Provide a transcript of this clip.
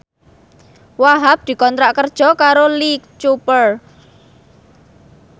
Wahhab dikontrak kerja karo Lee Cooper